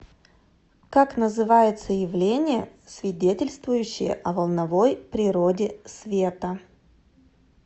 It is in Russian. как называется явление свидетельствующее о волновой природе света